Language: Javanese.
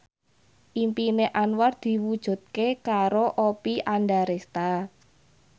impine Anwar diwujudke karo Oppie Andaresta